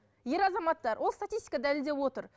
ер азаматтар ол статистика дәлелдеп отыр